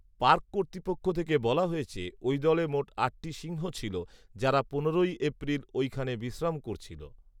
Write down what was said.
park কর্তৃপক্ষ থেকে বলা হয়েছে ওই দলে মোট আটটি সিংহ ছিল যারা পনেরোই এপ্রিল ঐখানে বিশ্রাম করছিলো